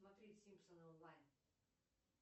смотреть симпсоны онлайн